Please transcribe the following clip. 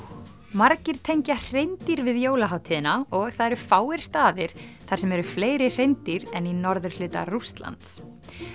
margir tengja hreindýr við jólahátíðina og það eru fáir staðir þar sem eru fleiri hreindýr en í norðurhluta Rússlands